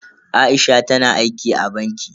Aisha tana aiki a banki.